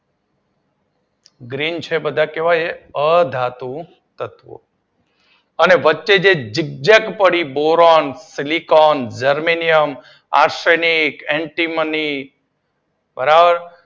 Green છે એ કેવા છે બધા અધાતુ તત્વો અને વચ્ચે જે ઝીગ ઝેક પડી boron, silicon, germanium, arsenic. Antimony, બરોબર